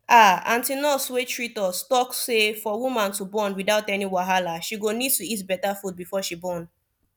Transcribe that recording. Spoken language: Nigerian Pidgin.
ahh aunty nurse wey treat us talk say for woman to born without any wahala she go need to eat better food before she born